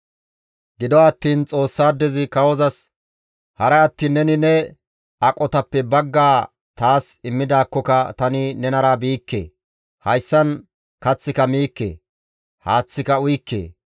Gido attiin Xoossaadezi kawozas, «Haray attiin neni ne aqotappe baggaa taas immidaakkoka tani nenara biikke; hayssan kaththika miikke; haaththika uyikke.